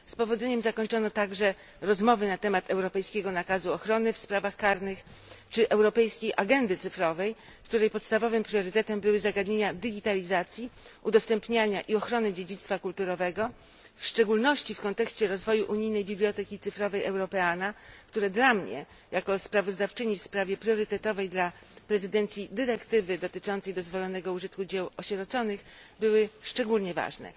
Z powodzeniem zakończono także rozmowy na temat europejskiego nakazu ochrony w sprawach karnych czy europejskiej agendy cyfrowej, której podstawowym priorytetem były zagadnienia digitalizacji, udostępniania i ochrony dziedzictwa kulturowego, w szczególności w kontekście rozwoju unijnej biblioteki cyfrowej Europeana, które dla mnie jako sprawozdawczyni w sprawie priorytetowej dla prezydencji dyrektywy dotyczącej dozwolonego użytku dzieł osieroconych były szczególnie ważne.